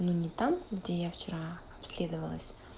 ну не там где я вчера обследовалась